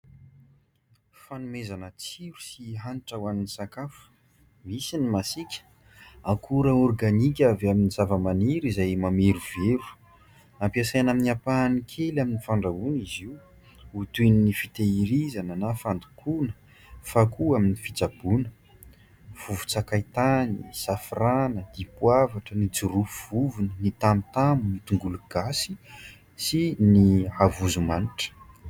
Fanomezana tsiro sy hanitra ho an'ny sakafo, misy ny masiaka. Akora ôrganika avy amin'ny zavamaniry izay mamerovero, ampiasaina amin'ny ampahany kely amin'ny fandrahoana izy io ho toy ny fitehirizana na fandokoana, fa koa amin'ny fitsaboana. Vovon-tsakaitany, safrana, dipovoatra, ny jirofo vovony, ny tamotamo, ny tongologasy sy ny havozomanitra.